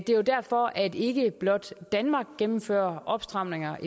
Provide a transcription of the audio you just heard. er jo derfor at ikke blot danmark gennemfører opstramninger